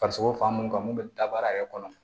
Farisogo fan mun kan mun be daba yɛrɛ kɔnɔ